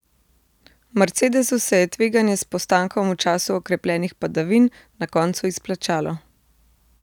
Mercedesu se je tveganje s postankom v času okrepljenih padavin na koncu izplačalo.